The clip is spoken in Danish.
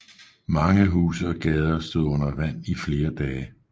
Mange huse og gader stod under vand i flere dage